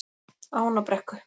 Ánabrekku